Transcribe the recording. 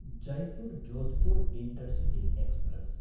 Jaipur Jodhpur intercity express